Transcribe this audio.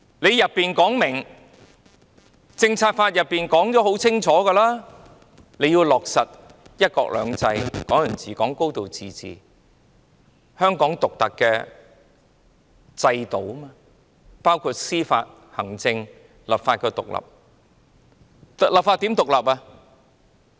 《香港政策法》清楚訂明，香港要落實"一國兩制"、"港人治港"及"高度自治"，而香港獨特的制度包括司法、行政及立法獨立。